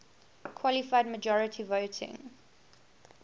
qualified majority voting